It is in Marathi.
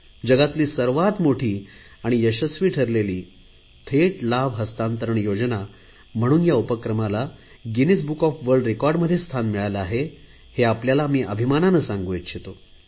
जगातील सर्वात मोठी आणि यशस्वी ठरलेली थेट लाभ हस्तांतरण योजना म्हणून या उपक्रमाला गिनीज बुक ऑफ वर्ल्ड रेकॉर्डमध्ये स्थान मिळाले आहे हे आपल्याला अभिमानाने सांगू इच्छितो